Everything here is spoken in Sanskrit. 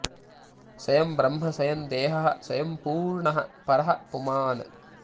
स्वयं ब्रह्म स्वयं देहः स्वयं पूर्णः परः पुमान्